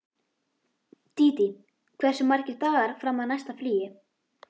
Dídí, hversu margir dagar fram að næsta fríi?